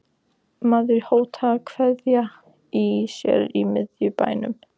Maður hótar að kveikja í sér í miðbænum.